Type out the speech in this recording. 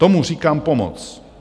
Tomu říkám pomoc!